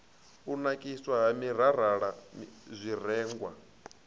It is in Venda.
u nakiswa ha minirala zwirengwa